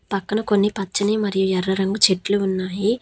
పక్కన కొన్ని పచ్చని మరియు ఎర్ర రంగు చెట్లు ఉన్నాయి.